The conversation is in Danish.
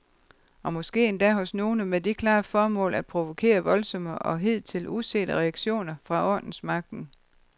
Og måske endda hos nogle med det klare formål at provokere voldsomme og hidtil usete reaktioner fra ordensmagten.